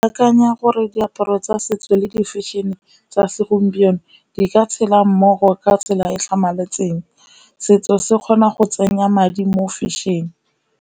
Ke akanya gore diaparo tsa setso le di fashion-e tsa segompieno, di ka tshela mmogo ka tsela e e tlhamaletseng. Setso se kgona go tsenya madi mo fashion-e.